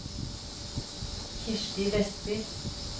Kirsti Westby